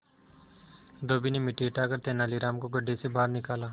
धोबी ने मिट्टी हटाकर तेनालीराम को गड्ढे से बाहर निकाला